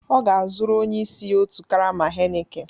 Ọ ga-azụrụ onye isi ya otu karama Heineken